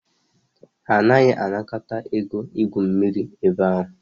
Ha anaghị anakọta ego igwu mmiri ebe a